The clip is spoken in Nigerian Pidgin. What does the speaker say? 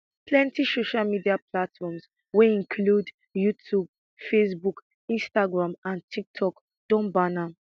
plenti social media platforms wey include youtube facebook instagram and tiktok don ban am